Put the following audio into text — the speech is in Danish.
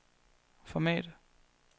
format